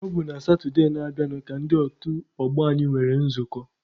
Ọ bụ na Satụde na-abịanụ ka ndị otu ọgbọ anyị nwere nzukọ.